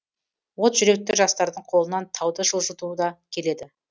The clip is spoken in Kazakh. от жүректі жастардың қолынан тауды жылжылту да келеді